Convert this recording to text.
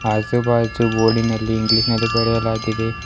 ಆಜು ಬಾಜು ಬೋರ್ಡಿನಲ್ಲಿ ಇಂಗ್ಲಿಷ್ ನಲ್ಲಿ ಬರೆಯಲಾಗಿದೆ.